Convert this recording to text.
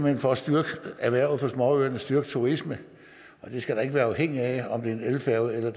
hen for at styrke erhvervet på småøerne styrke turismen og det skal da ikke være afhængigt af om det er en elfærge eller